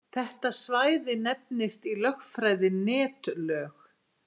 Þetta svæði nefnist í lögfræði netlög.